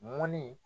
Mɔni